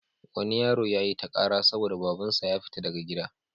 Wani yaro ya yi ta ƙara saboda babansa ya fiya daga gida.